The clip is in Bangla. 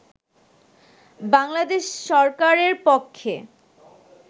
বাংলাদেশ সরকারের পক্ষে